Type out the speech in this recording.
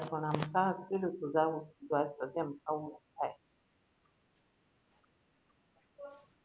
કીધું તું જાવું